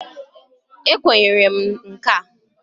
Ekwenyere m nka a.